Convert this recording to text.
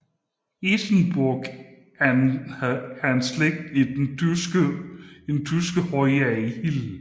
Isenburg er en slægt i den tyske højadel